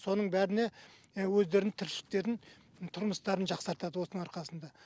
соның бәріне өздерінің тіршіліктерін тұрмыстарын жақсартады осының арқасында